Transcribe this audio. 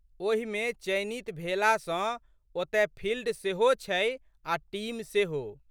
ओहिमे चयनित भेला सँ ओतए फिल्ड सेहो छै आ' टीम सेहो।